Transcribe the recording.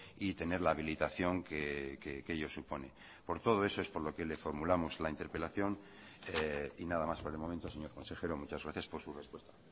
y tener la habilitación que ello supone por todo eso es por lo que le formulamos la interpelación y nada más por el momento señor consejero muchas gracias por su respuesta